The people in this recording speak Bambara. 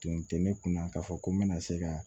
Tun tɛ ne kun na k'a fɔ ko n bɛna se ka